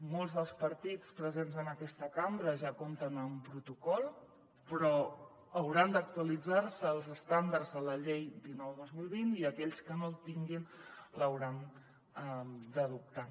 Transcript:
molts dels partits presents en aquesta cambra ja compten amb un protocol però hauran d’actualitzar se als estàndards de la llei dinou dos mil vint i aquells que no el tinguin l’hauran d’adoptar